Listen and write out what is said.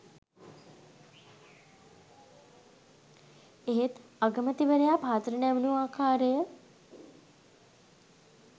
එහෙත් අගමැතිවරයා පහතට නැමුණු ආකාරය